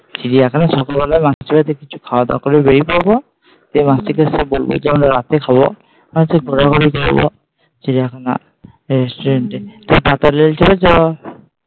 চিড়িয়াখানা সকালবেলা মাসির বাড়ি তে কিছু খাওয়া দাওয়া করে বেরিয়ে পড়ব দিয়ে মাসিকে এসে বলব যে আমরা রাতে খাব। আচ্ছা ঘোরাঘুরি করব চিড়িয়াখানায় এ